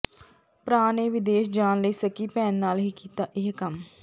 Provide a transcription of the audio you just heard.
ਭਰਾ ਨੇ ਵਿਦੇਸ਼ ਜਾਣ ਲਈ ਸਕੀ ਭੈਣ ਨਾਲ ਹੀ ਕੀਤਾ ਇਹ ਕੰਮ